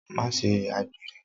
Ma ṣe àgbèrè.